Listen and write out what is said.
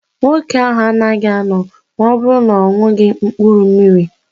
Nwoke ahụ anaghị anọ ma ọ bụrụ na-oṅughi mkpụrụ mmiri.